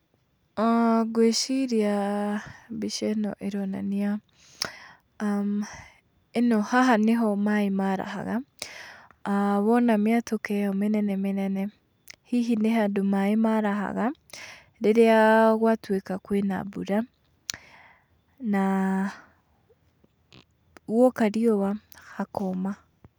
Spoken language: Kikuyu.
Ngwĩciria mbica ĩno ironania , ĩno haha nĩho maaĩ marahaga, wona mĩatũka ĩno mĩnene mĩnene, hihi nĩ handũ maaĩ marahaga rĩrĩa gwatuĩka kwĩna mbura na guoka riũa hakoma.